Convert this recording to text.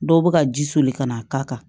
Dɔw bɛ ka ji soli ka n'a k'a kan